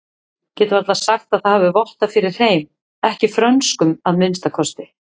Get varla sagt það hafi vottað fyrir hreim, ekki frönskum að minnsta kosti.